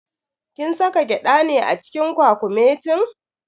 Kin saka gyada ne a cikin kwakumetin?